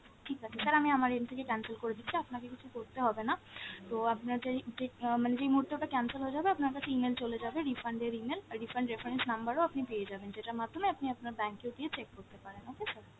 ঠিক আছে sir, আমি আমার end থেকে cancel করে দিচ্ছি আপনাকে কিছু করতে হবে না, তো আপনার যেই যে আহ মানে যেই মুহূর্তে ওটা cancel হয়ে যাবে আপনার কাছে email চলে যাবে, refund এর email, আর refund reference number ও আপনি পেয়ে যাবেন যেটার মাধ্যমে আপনি আপনার bank এও গিয়ে check করতে পারেন, okay sir?